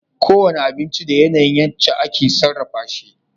Kowane abinci da yana yin yace ake sarrafa shi